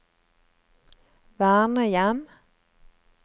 vernehjem